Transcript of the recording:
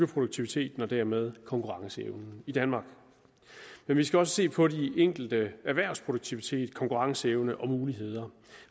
produktiviteten og dermed konkurrenceevnen i danmark vi skal også se på de enkelte erhvervs produktivitet konkurrenceevne og muligheder